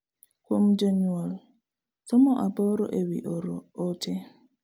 Kuom jonyuol, somo aboro e wi oro ote